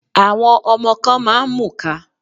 Àwọn ọmọ kan máa ń mùka.